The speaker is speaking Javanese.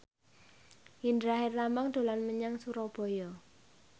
Indra Herlambang dolan menyang Surabaya